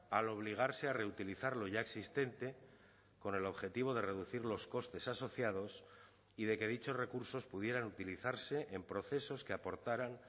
al obligarse a reutilizar lo ya existente con el objetivo de reducir los costes asociados y de que dichos recursos pudieran utilizarse en procesos que aportaran